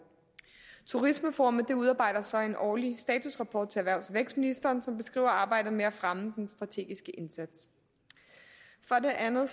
turismeforummet udarbejder så en årlig statusrapport til erhvervs og vækstministeren som beskriver arbejdet med at fremme den strategiske indsats for det andet